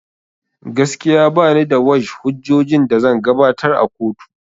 Gaskiya banida wash hujjojin da zan gabatar a kotu